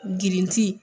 Girinti